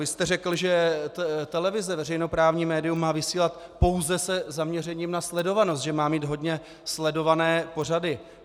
Vy jste řekl, že televize, veřejnoprávní médium, má vysílat pouze se zaměřením na sledovanost, že má mít hodně sledované pořady.